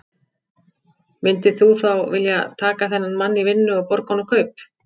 Myndir þú þá vilja taka þennan mann í vinnu og borga honum kaup?